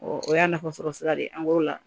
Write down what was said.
o y'a nafasɔrɔ sira de ye an g'ola